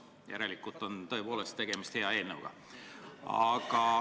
Järelikult on tõepoolest tegemist hea eelnõuga.